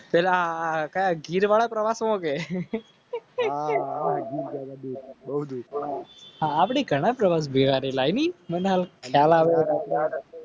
પેલા ગીરવાળા પ્રવાસો આપણી